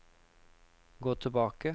gå tilbake